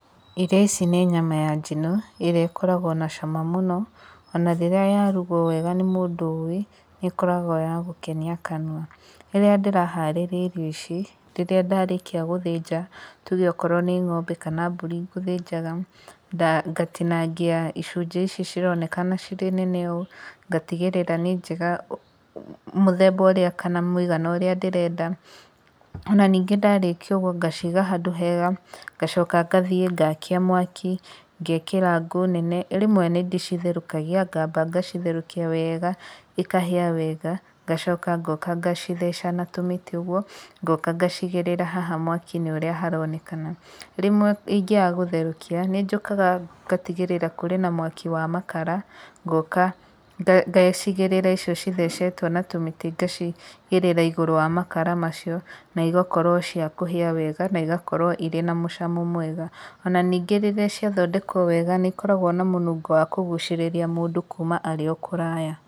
Irio ici nĩ nyama ya njino, ĩrĩa ikoraguo na cama mũno, ona rĩrĩa yarugwo wega nĩ mũndũ ũĩ, nĩ ĩkoragwo ya gũkenia kanua. Rĩrĩa ndĩraharĩrĩa irio ici, rĩrĩa ndarĩkia gũthĩnja, tuge okorwo nĩ ng'ombe kana mbũri ngũthĩnjaga, nda ngatinangia icunjĩ ici cironekana irĩ nene ũũ, ndatigĩrĩra nĩ njega, mũthemba ũrĩa, kana mũigana ũrĩa ndĩrenda. Ona ningĩ ndarĩkia ũguo ndaciga handũ hega. Ndacoka ngathiĩ ngakia mwaki, ngekĩra ngũũ nene. Rĩmwe nĩ nyambaga gũcitherũkia, ngacitherũkia wega, ikahĩa wega, ngacoka ngoka ngacitheca na tũmĩtĩ ũguo, ngoka ngacigĩrĩra mwaki-inĩ ũũ haronekana. Rĩmwe ingĩaga gũtherũkia, nĩ ndigagĩrĩra ndina mwaki wa makara, ngoka ngacigĩrĩra ĩcio ithecetwo na tũmĩtĩ, ngaciigĩrĩra igũrũ wa makara macio, na igakorwo cia kũhĩa wega, na ĩgakorwo ciĩna mũcamo mwega. Onaningĩ rĩrĩa ciathondekwo wega nĩ ikoragwo na mũrukĩ wa kũgucĩrĩria mũndũ kuuma arĩ o kũraya.